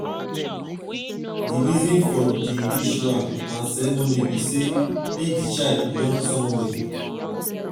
the reason for di rituals and ceremony be say make di child belong somewhere